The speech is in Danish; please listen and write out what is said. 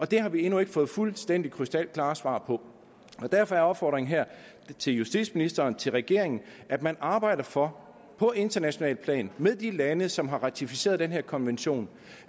det har vi endnu ikke fået fuldstændig krystalklare svar på derfor er opfordringen her til justitsministeren og til regeringen at man arbejder for på internationalt plan med de lande som har ratificeret den her konvention